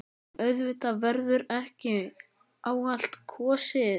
En auðvitað verður ekki á allt kosið.